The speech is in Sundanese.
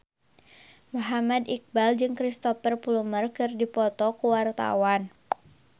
Muhammad Iqbal jeung Cristhoper Plumer keur dipoto ku wartawan